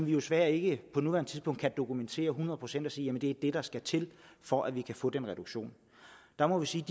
jo desværre ikke på nuværende tidspunkt dokumentere det hundrede procent og sige at det er det der skal til for at vi kan få den reduktion der må vi sige